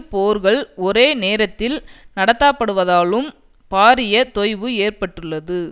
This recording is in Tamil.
போர்கள் ஒரே நேரத்தில் நடத்தாப்படுவதாலும் பாரிய தொய்வு ஏற்பட்டுள்ளது